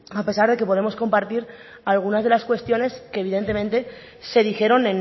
a pesar de que podemos compartir algunas de las cuestiones que evidentemente se dijeron